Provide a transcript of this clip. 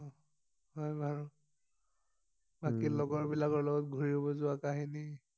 অ হয় বাৰু উম বাকি লগৰ বিলাকৰ লগত ঘূৰিব যোৱা কাহিনী